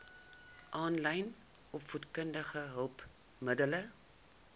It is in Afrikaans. aanlyn opvoedkundige hulpmiddele